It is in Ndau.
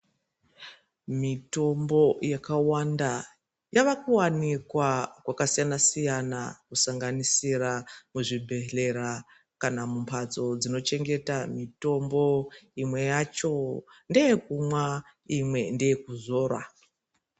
Mitombo yakawanda yavakuwanikwa kwakasiyana-siyana kusanganisisira muzvibhedhleya kana mumbatso dzochengeta mitombo imwe yacho ndeyekumwa imwe ndeyekuzora.